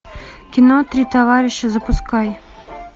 кино три товарища запускай